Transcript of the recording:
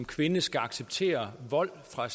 kvinder skal acceptere vold fra